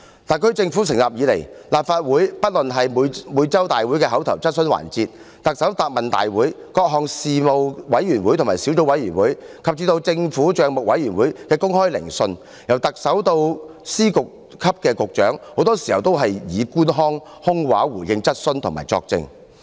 特區政府自成立以來，在立法會的會議席上——不論是每周會議的口頭質詢環節、行政長官答問會、各個事務委員會及小組委員會的會議，以至政府帳目委員會的公開聆訊——特首至司局級官員很多時均以官腔及空話來回應質詢及作證。